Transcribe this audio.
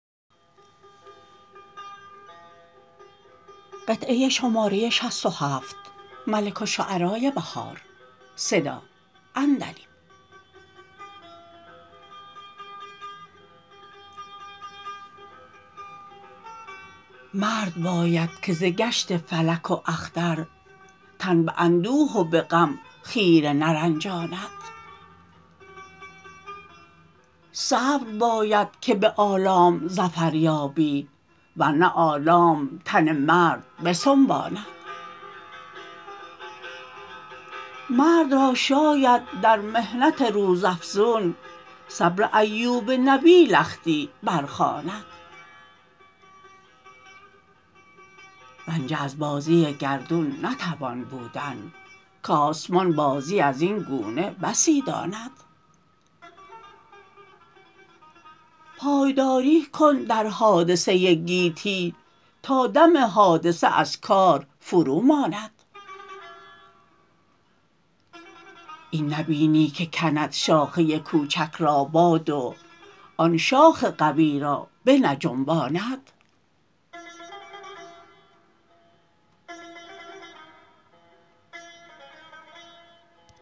مرد باید که ز گشت فلک و اختر تن به اندوه و به غم خیره نرنجاند صبر بایدکه به آلام ظفر یابی ور نه آلام تن مرد بسنباند مرد را شاید در محنت روزافزون صبر ایوب نبی لختی برخواند رنجه از بازی گردون نتوان بودن کاسمان بازی از اینگونه بسی داند پایداری کن در حادثه گیتی تا دم حادثه ازکار فروماند این نبینی که کند شاخه کوچک را باد و آن شاخ قوی را بنجنباند